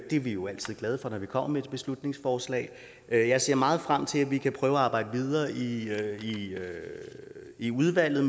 det er vi jo altid glade for når vi kommer med et beslutningsforslag jeg ser meget frem til at vi kan prøve at arbejde videre videre i udvalget